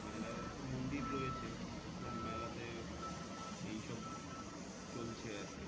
মেলার একটা মন্দির রয়েছে ওখানে মেলাতে এই সব চলছে